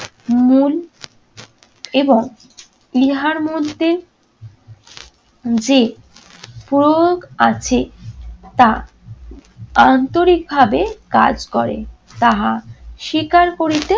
মূল এবং ইহার মধ্যে যে প্রয়োগ আছে তা আন্তরিকভাবে কাজ করে তাহা স্বীকার করিতে